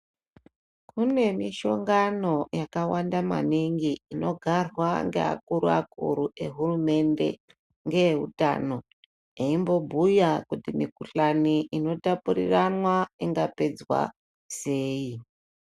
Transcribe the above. Kune mishongano yakawanda maningi inogarwa ngeakuru akuru ehurumende neveutano eimbobhuya kuti mikhuhlani inotapuriranwa inongapedzwa sei.